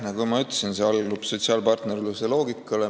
Nagu ma ütlesin, see allub sotsiaalpartnerluse loogikale.